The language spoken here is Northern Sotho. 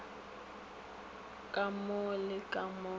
ka mo le ka mo